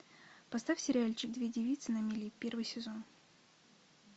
поставь сериальчик две девицы на мели первый сезон